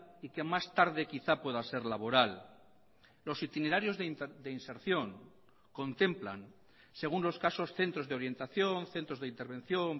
y que más tarde quizá pueda ser laboral los itinerarios de inserción contemplan según los casos centros de orientación centros de intervención